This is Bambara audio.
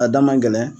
A da man gɛlɛn